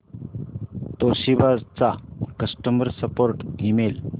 Toshiba चा customer support email